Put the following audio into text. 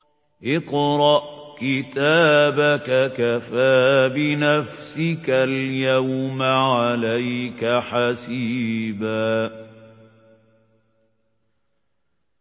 اقْرَأْ كِتَابَكَ كَفَىٰ بِنَفْسِكَ الْيَوْمَ عَلَيْكَ حَسِيبًا